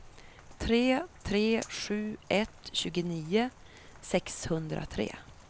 tre tre sju ett tjugonio sexhundratre